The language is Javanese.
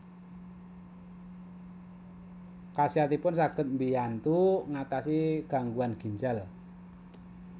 Khasiatipun saged mbiyantu ngatasi gangguan ginjal